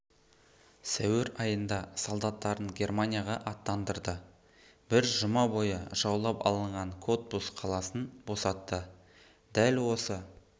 сәуір айында солдаттарын германияға аттандырды бір жұма бойы жаулап алынған котбус қаласын босатты дәл осы